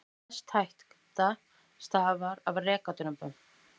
Mest hætta stafaði af rekadrumbum.